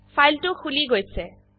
ফাইলটো খুলি গৈছে